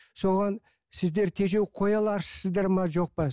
соған сіздер тежеу қоя аласыздар ма жоқ па